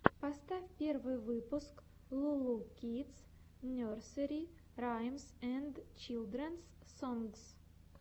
поставь первый выпуск лу лу кидс нерсери раймс энд чилдренс сонгс